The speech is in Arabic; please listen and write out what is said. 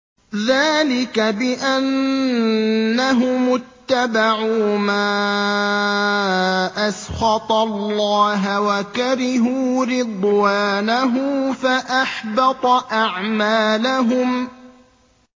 ذَٰلِكَ بِأَنَّهُمُ اتَّبَعُوا مَا أَسْخَطَ اللَّهَ وَكَرِهُوا رِضْوَانَهُ فَأَحْبَطَ أَعْمَالَهُمْ